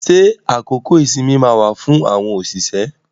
Ṣé àkókò ìsinmi máa wà fún àwọn òṣìṣẹ́?